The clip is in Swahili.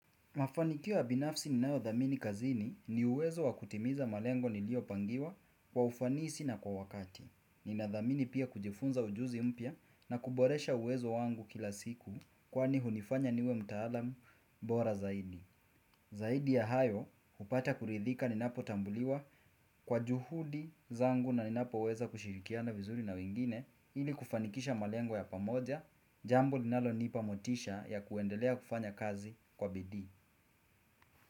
Mafanikio ya binafsi ninayodhamini kazini, ni uwezo wa kutimiza malengo niliopangiwa kwa ufanisi na kwa wakati. Nina dhamini pia kujifunza ujuzi mpya na kuboresha uwezo wangu kila siku, kwani hunifanya niwe mtaalam bora zaidi. Zaidi ya hayo, hupata kuridhika ninapotambuliwa kwa juhudi zangu na ninapoweza kushirikiana vizuri na wengine ili kufanikisha malengo ya pamoja jambo linalonipa motisha ya kuendelea kufanya kazi kwa bidii.